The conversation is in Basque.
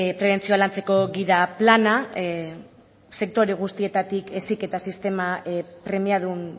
prebentzioa lantzeko gida plana sektore guztietatik heziketa sistema premiadun